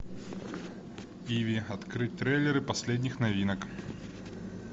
иви открыть трейлеры последних новинок